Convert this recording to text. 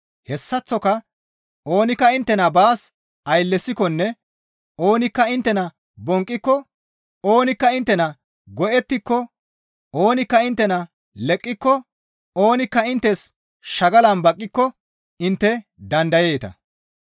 Hessaththoka oonikka inttena baas ayllesikkonne oonikka inttena bonqqiko, oonikka inttenan go7ettiko, oonikka inttena leqqiko, oonikka inttes shagalan baqqiko intte dandayeeta.